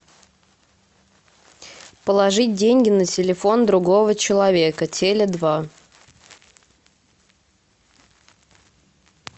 положить деньги на телефон другого человека теле два